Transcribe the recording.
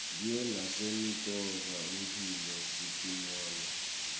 diye nasemitfola mphilo sitinole